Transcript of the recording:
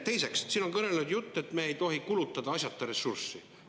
Teiseks, siin on kõneletud, et me ei tohi kulutada asjata ressurssi.